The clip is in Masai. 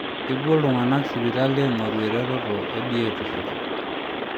Kepuo iltungana sipitali aing'oru ereteto e biotisho.